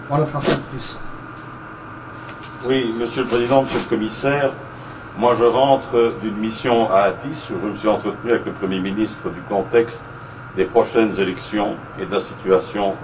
Monsieur le Président, Monsieur le Commissaire, je rentre d'une mission à Addis Abeba où je me suis entretenu avec le Premier ministre du contexte des prochaines élections, de la situation dans le pays mais aussi de la situation régionale.